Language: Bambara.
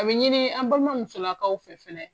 A bi ɲini an baliman musolakaw fɛ fɛnɛ